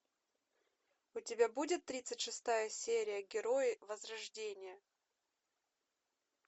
у тебя будет тридцать шестая серия герои возрождение